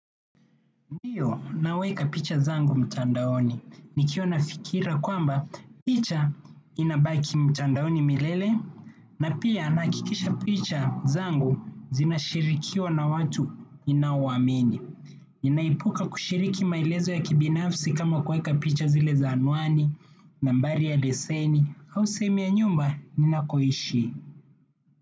Ndiyo naweka picha zangu mtandaoni. Nikiwa na fikira kwamba picha inabaki mtandaoni milele, na pia nahakikisha picha zangu zinashirikiwa na watu ninao waamini. Ninaepuka kushiriki maelezo ya kibinafsi kama kuweka picha zile za anwani, nambari ya leseni, au sehemu ya nyumba, ninakoishi.